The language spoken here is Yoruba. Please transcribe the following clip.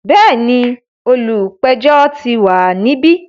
Bẹ́ẹ̀ni, olùpẹ̀jọ́ ti wà níbí.